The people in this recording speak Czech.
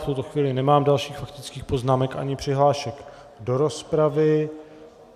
V tuto chvíli nemám dalších faktických poznámek ani přihlášek do rozpravy.